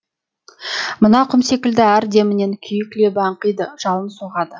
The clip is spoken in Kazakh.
мына құм секілді әр демінен күйік лебі аңқиды жалын соғады